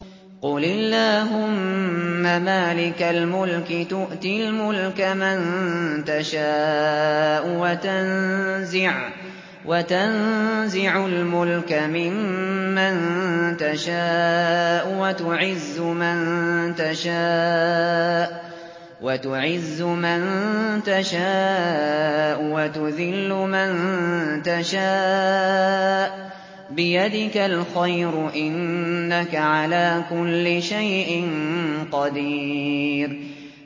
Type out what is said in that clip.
قُلِ اللَّهُمَّ مَالِكَ الْمُلْكِ تُؤْتِي الْمُلْكَ مَن تَشَاءُ وَتَنزِعُ الْمُلْكَ مِمَّن تَشَاءُ وَتُعِزُّ مَن تَشَاءُ وَتُذِلُّ مَن تَشَاءُ ۖ بِيَدِكَ الْخَيْرُ ۖ إِنَّكَ عَلَىٰ كُلِّ شَيْءٍ قَدِيرٌ